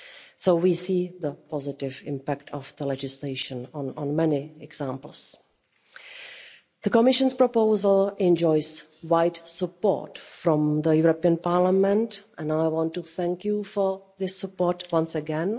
So we see the positive impact of legislation in many examples. The Commission's proposal enjoys wide support from the European Parliament, and I want to thank you for this support once again.